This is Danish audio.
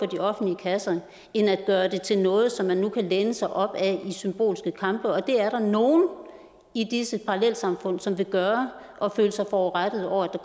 de offentlige kasser end at gøre det til noget som man nu kan læne sig op ad i symbolske kampe og det er der nogle i disse parallelsamfund som vil gøre og føle sig forurettet over at